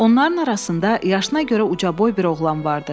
Onların arasında yaşına görə ucaboy bir oğlan vardı.